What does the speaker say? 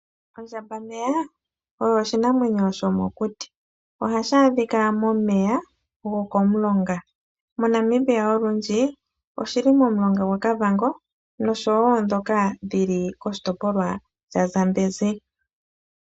Ondjambameya oyo oshinamwenyo shomokuti. Ohashi adhika momeya gokomulonga. MoNamibia olundji oshili momulonga gwaKavango nosho wo ndhoka dhili komulonga gwaZambezi.